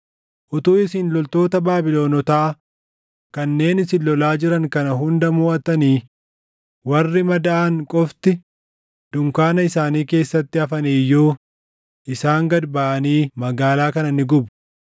Utuu isin loltoota Baabilonotaa kanneen isin lolaa jiran kana hunda moʼattanii warri madaaʼan qofti dunkaana isaanii keessatti hafanii iyyuu isaan gad baʼanii magaalaa kana ni gubu.”